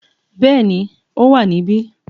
Bẹ́ẹ̀ni ó wà níbí